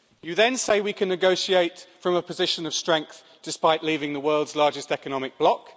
You then say we can negotiate from a position of strength despite leaving the world's largest economic bloc.